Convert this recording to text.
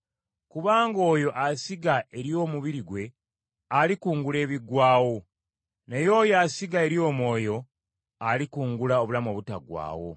Kubanga oyo asiga eri omubiri gwe, alikungula ebiggwaawo. Naye oyo asiga eri omwoyo, alikungula obulamu obutaggwaawo.